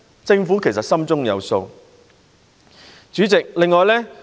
政府其實心中有數。